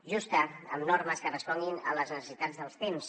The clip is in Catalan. justa amb normes que responguin a les necessitats dels temps